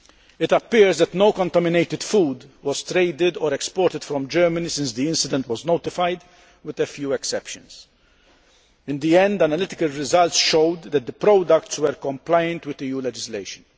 It appears that no contaminated food was traded or exported from Germany since the incident was notified, with a few exceptions. In the end, analytical results showed that the products were compliant with EU legislation.